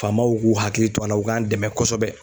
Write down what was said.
Faamaw k'u hakili to a la u k'an dɛmɛ kosɛbɛ